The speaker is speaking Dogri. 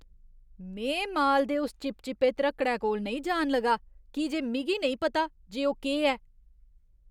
में माल दे उस चिपचिपे ध्रक्कड़ै कोल नेईं जान लगा की जे मिगी नेईं पता जे ओह् केह् ऐ।